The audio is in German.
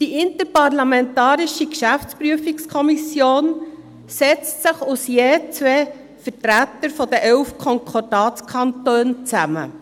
Die IGPK setzt sich aus je zwei Vertretern der elf Konkordatskantone zusammen.